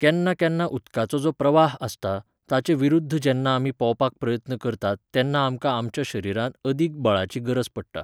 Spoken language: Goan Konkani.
केन्ना केन्ना उदकाचो जो प्रवाह आसता ताचे विरूध्द जेन्ना आमी पोंवपाक प्रयत्न करतात तेन्ना आमकां आमच्या शरिरांत अदिक बळाची गरज पडटा